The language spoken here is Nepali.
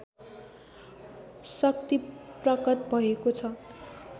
शक्ति प्रकट भएको छ